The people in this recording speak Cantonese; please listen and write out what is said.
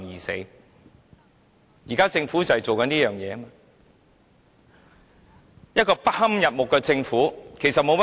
新政府仍然是一個不堪入目的政府，沒有甚麼改變。